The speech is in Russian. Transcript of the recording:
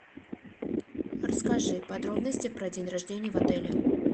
расскажи подробности про день рождения в отеле